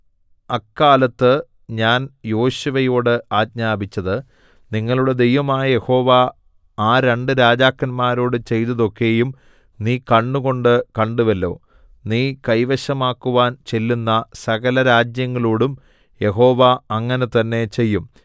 അക്കാലത്ത് ഞാൻ യോശുവയോട് ആജ്ഞാപിച്ചത് നിങ്ങളുടെ ദൈവമായ യഹോവ ആ രണ്ടു രാജാക്കന്മാരോട് ചെയ്തതൊക്കെയും നീ കണ്ണുകൊണ്ട് കണ്ടുവല്ലോ നീ കൈവശമാക്കുവാൻ ചെല്ലുന്ന സകലരാജ്യങ്ങളോടും യഹോവ അങ്ങനെ തന്നെ ചെയ്യും